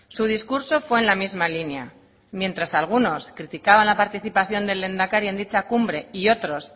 su discurso fue en la misma línea mientras algunos criticaban la participación del lehendakari en dicha cumbre y otros